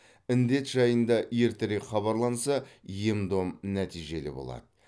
індет жайында ертерек хабарланса ем дом нәтижелі болады